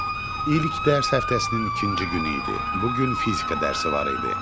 İlk dərs həftəsinin ikinci günü idi, bu gün fizika dərsi var idi.